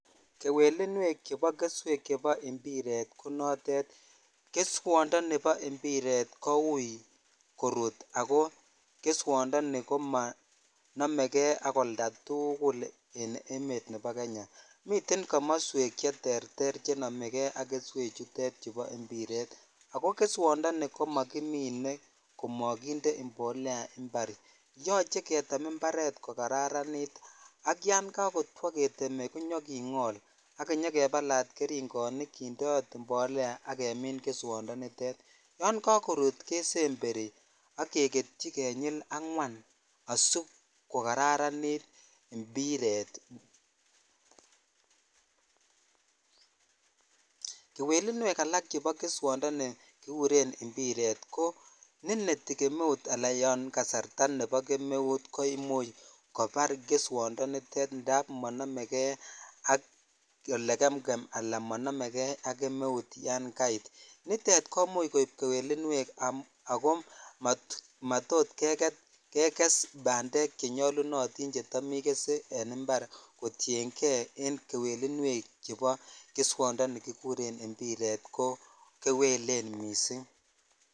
Kewelinwek chebo keswek chbo mpiret ko notet keswondoni bo mpiret koui korut ako keswondoni komonomekei ak oldatukul en emet nebo Kenya miten komoswek cheterter chenome kei ak keswe chutet chubo mpiret ako keswondoni komokimine komokinde imbolea imparet yoche ketem imparet kokararanitak yan kakotwo ketem konyokingol ak kenyokebalat geringonik kindrot imbolea ak kemin keswondonitet yan kakorut kesember ak keketyi konyil angwan asikokararanit mpiret(puse) kewelinwek alak chebo keswondoni ni kikuren mpiret ko nenetii kemeut al ya kasarta nebo kemeut ko imuch kobar keswondoni nitet indap monomekei ole gemgem ala monomejei ak kemeu yan kaimin nitet ko imuch koib kewelinwek akomatot keges bandekm chenyolunotik chetam igese en impar ko tienkei en kewelinwek chobo keswondoni bo mpiret ko kewelen miss